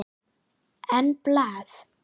En blað?